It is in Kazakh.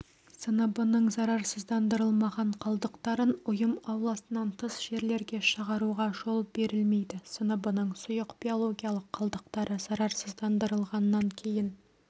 сыныбының зарарсыздандырылмаған қалдықтарын ұйым ауласынан тыс жерлерге шығаруға жол берілмейді сыныбының сұйық биологиялық қалдықтары зарарсыздандырылғаннан кейін